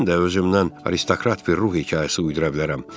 Mən də özümdən aristokrat bir ruh hekayəsi uydura bilərəm.